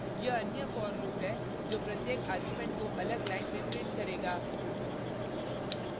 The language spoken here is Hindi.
यह अन्य for loop है जो प्रत्येक argument को अलग line में print करेगा